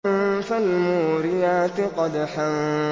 فَالْمُورِيَاتِ قَدْحًا